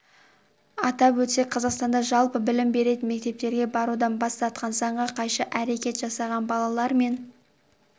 атап өтсек қазақстанда жалпы білім беретін мектептерге барудан бас тартқан заңға қайшы әрекет жасаған балалар мен